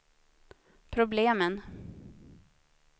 problemen